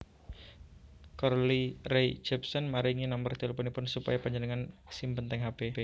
Carly Rae Jepsen maringi nomer tilpunipun supaya panjenengan simpen teng hp